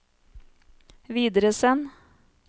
videresend